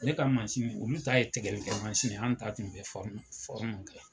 Ne ka olu ta ye tigɛli kɛ ye an ta tun bɛ kɛ.